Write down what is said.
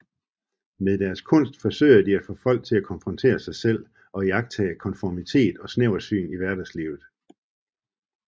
Med deres kunst forsøger de at få folk til at konfrontere sig selv og iagttage konformitet og snæversyn i hverdagslivet